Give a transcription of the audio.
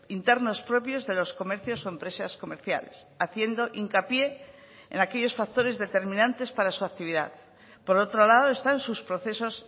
internos propios de los comercios o empresas comerciales haciendo hincapié en aquellos factores determinantes para su actividad por otro lado están sus procesos